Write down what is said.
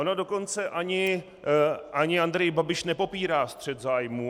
On dokonce ani Andrej Babiš nepopírá střet zájmů.